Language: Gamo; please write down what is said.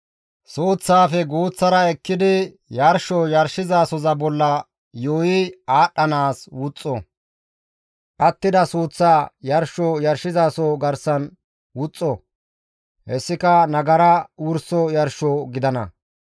Suuththaafe guuththara ekkidi yarsho yarshozasoza bolla yuuyi aadhdhanaas wuxxo; attida suuththaa yarsho yarshizaso garsan wuxxo; hessika nagara wurso yarsho gidana.